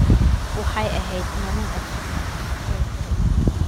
Waxay ahayd maalin cajiib ah, ayay tiri Eman.